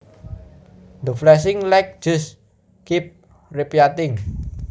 The flashing light just keeps repeating